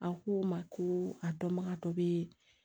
A ko n ma ko a dɔnbagatɔ bɛ